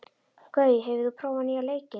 Gaui, hefur þú prófað nýja leikinn?